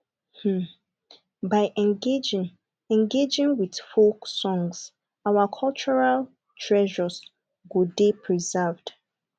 um by engaging engaging with folk songs our cultural treasures go dey preserved